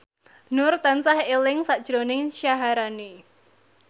Nur tansah eling sakjroning Syaharani